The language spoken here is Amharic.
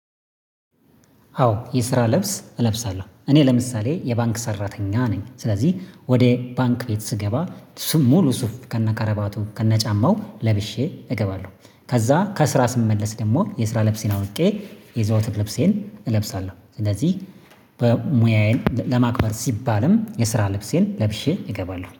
አዎ የስራ ልብስ እለብሳለው እኔ ለምሳሌ የባንክ ሰራተኛ ነኝ ስለዚህ ወደ ባንክ ቤት ስገባ ሙሉ ሱፍ ከነከረባቱ ከነጫማው ለብሼ እገባለሁ። ከዛ ከስራ ስመለስ ደግሞ የስራ ለብሴን አውልቄ የዘውትር ልብሴን እለብሳለሁ ስለዚህ ሙያዬን ለማክበር ሲባልም የስራ ልብሴን ለብሼ እገባለሁ